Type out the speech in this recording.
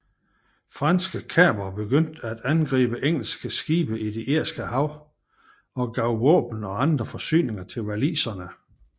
Franske kapere begyndte at angribe engelske skibe det Irske Hav og gav våben og andre forsyninger til waliserne